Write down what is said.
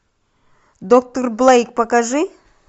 доктор блейк покажи